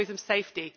safety